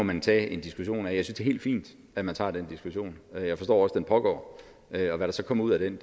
man tage en diskussion af jeg synes helt fint at man tager den diskussion og jeg forstår også at den pågår hvad der så kommer ud af den